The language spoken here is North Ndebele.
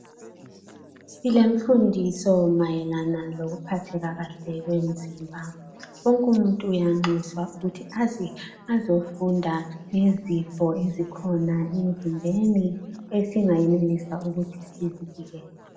silemfundiso mayelana lokuphatheka kahle kwemzimba wonke umuntu uyanxuswa ukuthi aze azofunda ngezifo ezikhona emzimbeni esingayenelisa ukuthi sizivikele